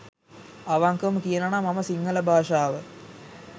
අවංකවම කියනවනම් මම සිංහල භාෂාව